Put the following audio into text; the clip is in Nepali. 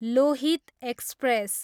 लोहित एक्सप्रेस